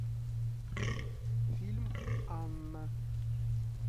фильм анна